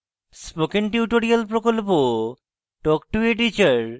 spoken tutorial প্রকল্প talk to a teacher প্রকল্পের অংশবিশেষ